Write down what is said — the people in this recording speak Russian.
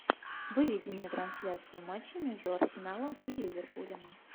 выведи мне трансляцию матча между арсеналом и ливерпулем